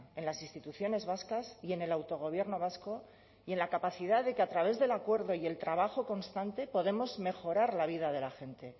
en las instituciones vascas y en el autogobierno vasco y en la capacidad de que a través del acuerdo y el trabajo constante podemos mejorar la vida de la gente